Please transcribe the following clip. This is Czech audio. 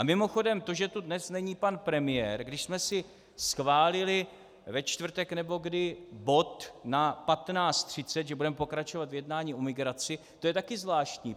A mimochodem to, že tu dnes není pan premiér, když jsme si schválili ve čtvrtek nebo kdy bod na 15.30, že budeme pokračovat v jednání o migraci, to je taky zvláštní.